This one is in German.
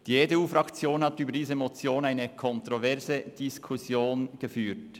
Die EDU-Fraktion hat zu dieser Motion eine kontroverse Diskussion geführt.